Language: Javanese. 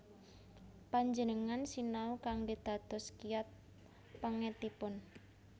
Panjenengan sinau kanggé dados kiyat pèngetipun